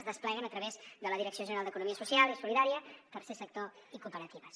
es despleguen a través de la direcció general d’economia social i solidària tercer sector i cooperatives